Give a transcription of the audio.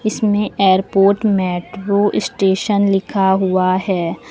इसमें airport metro station लिखा हुआ है।